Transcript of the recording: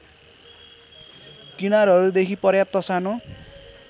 किनारहरूदेखि पर्याप्त सानो